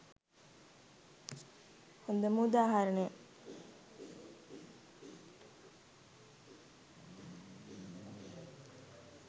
හොඳම උදාහරණය.